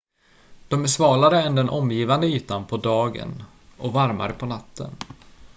"""de är svalare än den omgivande ytan på dagen och varmare på natten.